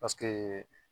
Paseke